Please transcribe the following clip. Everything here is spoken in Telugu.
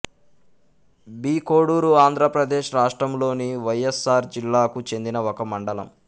బి కోడూరు ఆంధ్ర ప్రదేశ్ రాష్ట్రములోని వైఎస్ఆర్ జిల్లాకు చెందిన ఒక మండలం